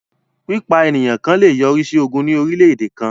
Pípa ènìyàn ẹ̀yà kàn lè yọrí sí ogún ní orílẹ̀-èdè kàn